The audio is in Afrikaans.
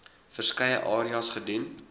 verskeie areas gedoen